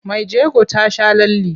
Mai jego ta sha lalle.